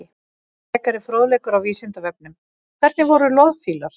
Frekari fróðleikur á Vísindavefnum: Hvernig voru loðfílar?